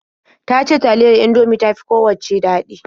Ta ce taliyar Indomie ta fi kowacce daɗi.